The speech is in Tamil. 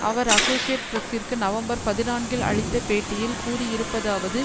அவர் அசோசியேட் பிரசிற்கு நவம்பர் பதினான்கில் அளித்த பேட்டியில் கூறி இருப்பதாவது